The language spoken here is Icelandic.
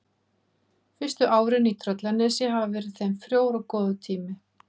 Fyrstu árin í Tröllanesi hafa verið þeim frjór og góður tími.